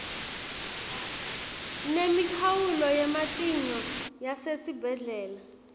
nemikhawulo yematinyo yasesibhedlela